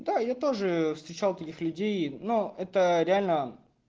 да я тоже встречал таких людей но это реально